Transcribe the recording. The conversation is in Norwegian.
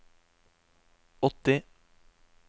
åtti